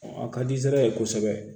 a ka dila ye kosɛbɛ